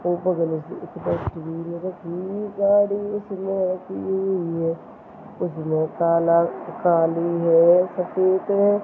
काला काली है सफेद है।